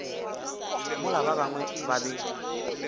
mola ba bangwe ba be